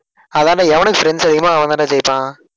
அதான்டா எவனுக்கு friends அதிகமோ அவன்தான்டா ஜெயிப்பான்.